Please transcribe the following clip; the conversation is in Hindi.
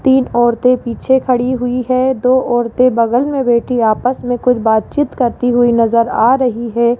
तीन औरतें पीछे खड़ी हुई है दो औरतें बगल में बैठी आपस में कुछ बातचीत करती हुई नजर आ रही है।